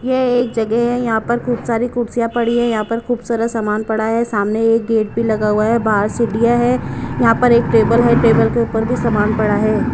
ये एक जगह है यहां पर खूब सारी कुर्सियां पड़ी हैं यहां पर खूब सारा सामान पड़ा है सामने एक गेट भी लगा हुआ है बाहर सीढ़ियां हैं यहां पर एक टेबल है टेबल के ऊपर भी सामान पड़ा है।